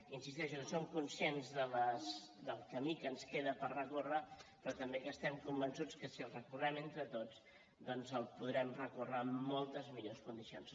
insisteixo que som conscients del camí que ens queda per recórrer però també que estem convençuts que si el recorrem entre tots doncs el podrem recórrer amb moltes millors condicions